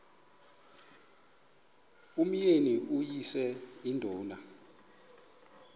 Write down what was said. umyeni uyise iduna